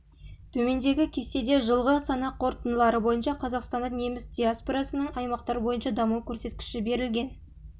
төмендегі кестеде жылғы санақ қорытындылары бойынша қазақстанда неміс диаспорасының аймақтар бойынша даму көрсеткіші берілген